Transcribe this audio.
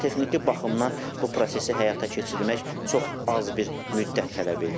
Texniki baxımdan bu prosesi həyata keçirmək çox az bir müddət tələb eləyir.